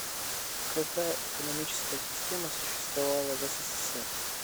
какая экономическая система существовала в ссср